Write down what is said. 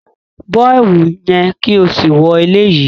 Bọ ẹwu yẹn ki o si wọ eleyi!